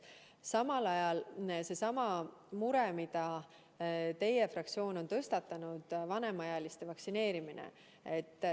Samal ajal on seesama mure, mille teie fraktsioon on tõstatanud: vanemaealiste vaktsineerimine.